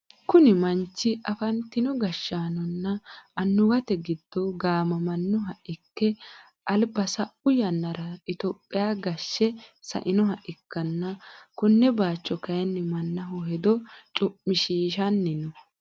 kuni manchi afantino gashshaanonna annuwate giddo gaamammannoha ikke alba sa'u yannara itophiya gashshe sa'inoha ikkanna, konne bayicho kayinni mannaho hedo cu'mishshiishanni no.